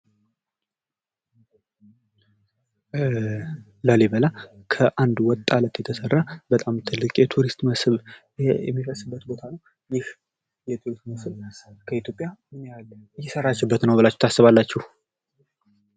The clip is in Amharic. ላሊበላ ከአንድ ወጥ አለት የተሰራ በጣም ትልቅ የቱሪስት መስብ የሚፈስበት ቦታ ነው። ይህ የቱሪስት መስብ ኢትዮጵያ ምን ያህል እየሰራችበት ነው ትላላላችሁ?